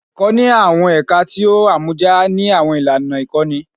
Ẹkọ Ẹkọ ni awọn ẹka ti o amọja ni awọn ilana ikọni